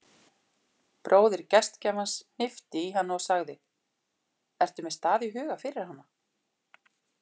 Bróðir gestgjafans hnippti í hana og sagði: ertu með stað í huga fyrir hana?